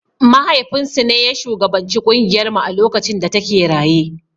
Mahaifin su ne ya shugabanci ƙungiyar mu a lokacin da ta ke raye.